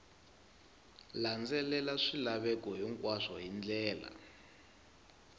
landzelela swilaveko hinkwaswo hi ndlela